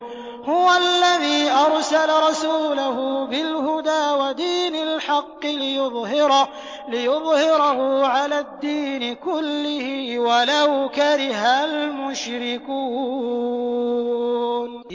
هُوَ الَّذِي أَرْسَلَ رَسُولَهُ بِالْهُدَىٰ وَدِينِ الْحَقِّ لِيُظْهِرَهُ عَلَى الدِّينِ كُلِّهِ وَلَوْ كَرِهَ الْمُشْرِكُونَ